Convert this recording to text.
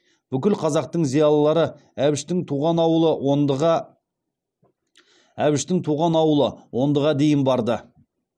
бүкіл қазақтың зиялылары әбіштің туған ауылы ондыға дейін барды